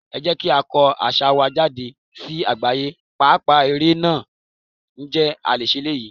Ẹ jẹ́ kí á kọ́ àṣà wa jáde sí àgbáyé, pàápàá ère náà, ǹjẹ́ a lè ṣe eléyìí?